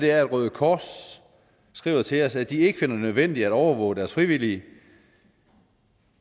er at røde kors skriver til os at de ikke finder det nødvendigt at overvåge deres frivillige